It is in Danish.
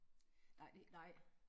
Det er det ikke nej